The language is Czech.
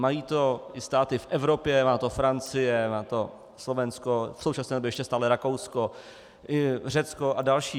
Mají to i státy v Evropě, má to Francie, má to Slovensko, v současné době ještě stále Rakousko, Řecko a další.